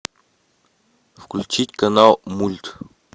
включить канал мульт